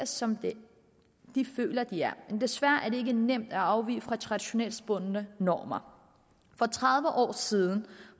som den de føler de er men desværre er det ikke nemt at afvige fra traditionsbundne normer for tredive år siden